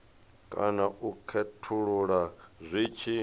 kana u khethulula zwi tshi